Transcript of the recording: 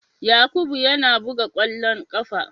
Yakubu yana buga kwallon kafa.